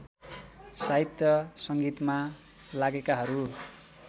साहित्य सङ्गीतमा लागेकाहरू